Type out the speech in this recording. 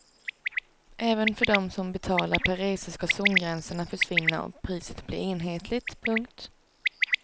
Även för dem som betalar per resa ska zongränserna försvinna och priset bli enhetligt. punkt